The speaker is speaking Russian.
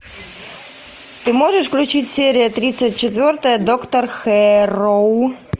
ты можешь включить серия тридцать четвертая доктор хэрроу